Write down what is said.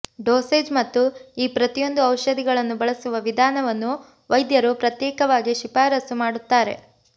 dosage ಮತ್ತು ಈ ಪ್ರತಿಯೊಂದು ಔಷಧಿಗಳನ್ನು ಬಳಸುವ ವಿಧಾನವನ್ನು ವೈದ್ಯರು ಪ್ರತ್ಯೇಕವಾಗಿ ಶಿಫಾರಸು ಮಾಡುತ್ತಾರೆ